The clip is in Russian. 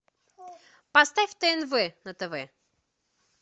поставь тнв на тв